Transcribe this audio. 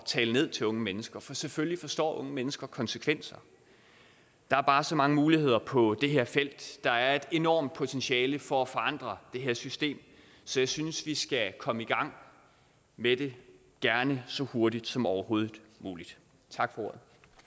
tale ned til unge mennesker for selvfølgelig forstår unge mennesker konsekvenser der er bare så mange muligheder på det her felt der er et enormt potentiale for at forandre det her system så jeg synes vi skal komme i gang med det gerne så hurtigt som overhovedet muligt tak for